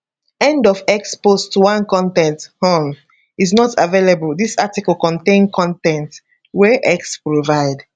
end of x post 1 con ten t um is not available dis article contain con ten t wey x provide